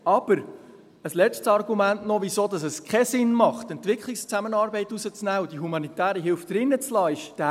Aber: Ein letztes Argument noch, wieso es keinen Sinn macht, «Entwicklungszusammenarbeit» herauszunehmen und die «humanitäre Hilfe» drin zu lassen, ist dieses: